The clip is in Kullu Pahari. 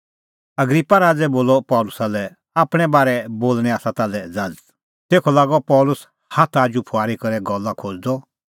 अग्रिप्पा राज़ै बोलअ पल़सी लै आपणैं बारै बोल़णें आसा ताल्है ज़ाज़त तेखअ लागअ पल़सी हाथ आजू फुआरी करै गल्ला खोज़दअ